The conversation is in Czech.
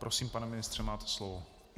Prosím, pane ministře, máte slovo.